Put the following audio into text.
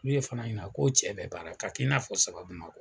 N'u ye Fana ɲina k'o cɛ bɛ baara k'a kɛ i n'a fɔ saba ma.